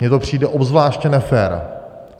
Mně to přijde obzvláště nefér.